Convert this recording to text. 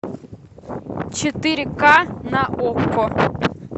четыре к на окко